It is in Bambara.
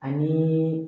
Ani